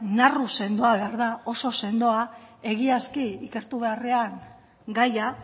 narru sendoa behar da oso sendoa egiazki ikertu beharrean gaia